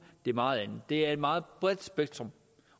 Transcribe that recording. meget andet det er et meget bredt spektrum